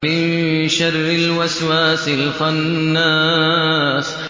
مِن شَرِّ الْوَسْوَاسِ الْخَنَّاسِ